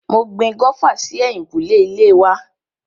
Mo gbin gófà sí ẹ̀yìnkùlé ilé wa.